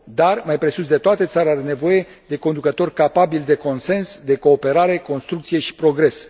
Dar, mai presus de toate, țara are nevoie de conducători capabili de consens, de cooperare, construcție și progres.